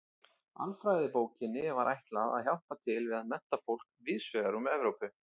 Alfræðibókinni var ætlað að hjálpa til við að mennta fólk víðs vegar um Evrópu.